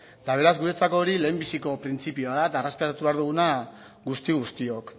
eta beraz guretzako hori lehen biziko printzipioa da eta errespetatu behar duguna guzti guztiok